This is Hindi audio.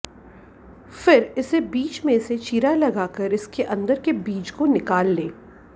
फिर इसे बीच में से चीरा लगा कर इसके अंदर के बीज को निकाल लें